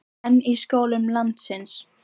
En í skólum landsins?